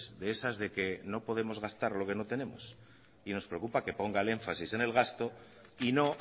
de esas de que no podemos gastar lo que no tenemos y nos preocupa que ponga el énfasis en el gasto y no